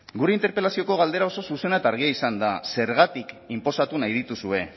gure interpelazioko galdera oso zuzena eta argia izan da zergatik inposatu nahi dituzue